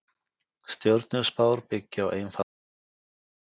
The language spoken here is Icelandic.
Stjörnuspár byggja á einfaldri forsendu.